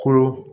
Kolo